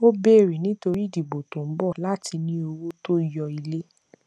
ó bèrè nítorí ìdìbò tó ń bọ láti ní owó tó yó ilé